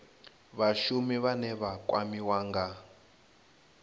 vhashumi vhane vha kwamiwa nga